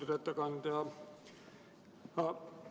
Austatud ettekandja!